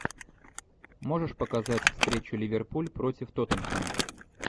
можешь показать встречу ливерпуль против тоттенхэма